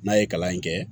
N'a ye kalan in kɛ